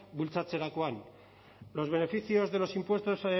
bultzatzerakoan los beneficios de los impuestos